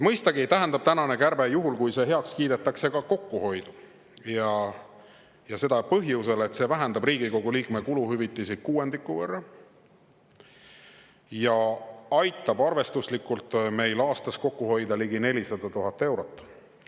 Mõistagi tähendab tänane kärbe – juhul kui heaks kiidetakse – ka kokkuhoidu, ja seda põhjusel, et see vähendab Riigikogu liikme kuluhüvitisi kuuendiku võrra ja aitab meil aastas kokku hoida arvestuslikult ligi 400 000 eurot.